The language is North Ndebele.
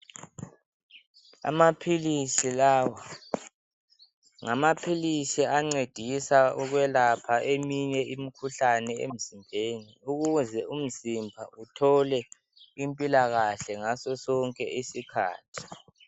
amaphilisi lawa ngamaphilisi ancedisa ukulapha eminye imikhuhlane emzimbeni ukuze umzimba uthole impilakahle ngaso sonke isikhathi